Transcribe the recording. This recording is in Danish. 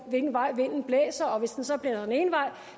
vej vinden blæser og hvis den